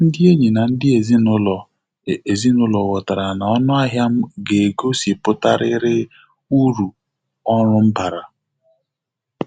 Ndị enyi na ndị ezinụlọ ezinụlọ ghọtara na ọnụahịa m ga-egosipụtarịrị uru ọrụ m bara.